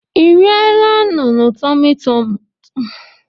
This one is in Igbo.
Ị eriela nunu tumu tumu mbụ?